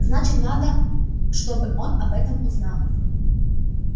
значит надо чтобы он об этом узнал